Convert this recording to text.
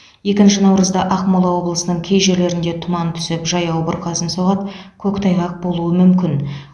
екінші наурызда ақмола облысының кей жерлерінде тұман түсіп жаяу бұрқасын соғады көктайғақ болуы мүмкін